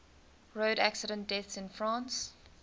road accident deaths in france